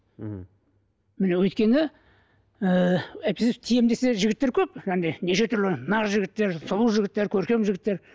мхм өйткені ііі әйтпесе тиемін десе жігіттер көп неше түрлі нар жігіттер сұлу жігіттер көркем жігіттер